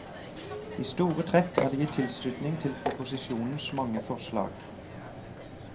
I store trekk er det gitt tilslutning til proposisjonens mange forslag.